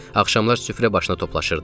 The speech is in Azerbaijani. Axşamlar süfrə başına toplaşırdıq.